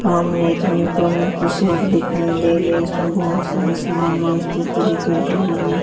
सामने एक इलेक्ट्रॉनिक की शॉप दिखाई दे रही है उसमें बहोत सारे सामान व्यवस्थित तरीके ड्रॉर में--